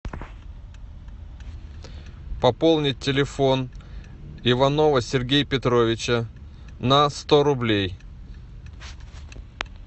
пополнить телефон иванова сергея петровича на сто рублей